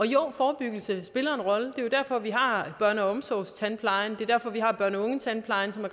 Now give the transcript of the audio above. jo forebyggelse spiller en rolle er jo derfor vi har børneomsorgstandplejen og det er derfor vi har børne og ungetandplejen som